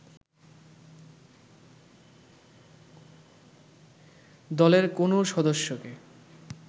দলের কোনও সদস্যকে